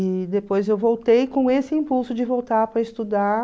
E depois eu voltei com esse impulso de voltar para estudar.